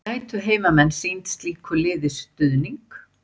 Gætu heimamenn sýnt slíku liði stuðning?